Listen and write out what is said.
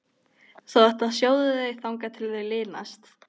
Þú átt að sjóða þau þangað til þau linast.